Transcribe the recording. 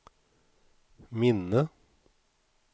minne